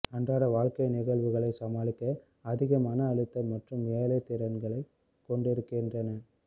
அன்றாட வாழ்க்கை நிகழ்வுகளை சமாளிக்க அதிக மன அழுத்தம் மற்றும் ஏழை திறன்களைக் கொண்டிருக்கின்றன